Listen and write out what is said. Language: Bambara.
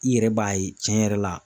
I yɛrɛ b'a ye tiɲɛ yɛrɛ la.